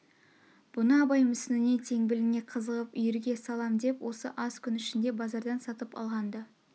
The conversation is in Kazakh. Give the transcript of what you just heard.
бұны абай мүсініне теңбіліне қызығып үйрге салам деп осы аз күн ішінде базардан сатып алған-ды